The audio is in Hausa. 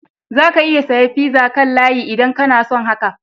Za ka iya saya pizza kan layi idan kana so haka.